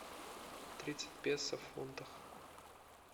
тридцать песо в фунтах